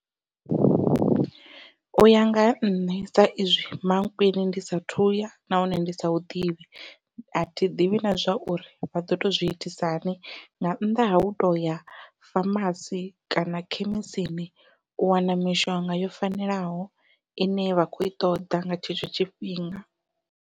Uya nga ha nṋe sa izwi Mankweng ndi sa athu ya nahone ndi sa hu ḓivhi athi ḓivhi na zwa uri vha ḓo tou zwi itisa hani nga nnḓa ha hu toya famasi kana khemisini u wana mishonga yo fanelaho ine vha kho i ṱoḓa nga tshetsho tshifhinga.